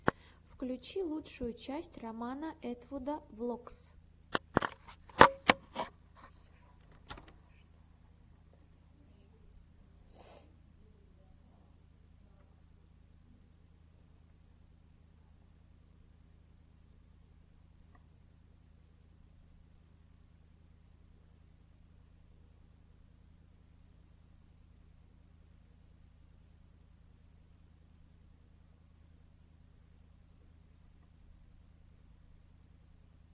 включи лучшую часть романа этвуда влогс